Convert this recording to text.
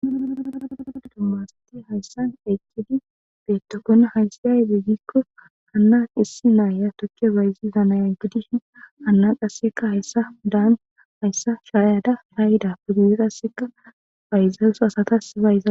Hays aybe biko Hana issi Naya tuke bayziza nayo gidishn hayina qaseka haysa shayada shayidappe guye qaseka asatsa bayzawus .